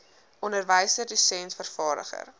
onderwyser dosent vervaardiger